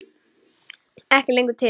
Ekki lengur til!